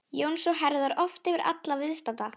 Jóns og herðar oft yfir alla viðstadda.